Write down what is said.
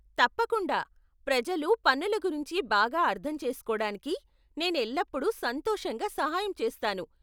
తప్పకుండా, ప్రజలు పన్నుల గురించి బాగా అర్ధం చేసుకోడానికి నేను ఎల్లప్పుడు సంతోషంగా సహాయం చేస్తాను.